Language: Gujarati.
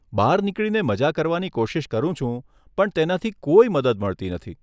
બહાર નીકળીને મઝા કરવાની કોશિશ કરું છું પણ તેનાથી કોઈ મદદ મળતી નથી.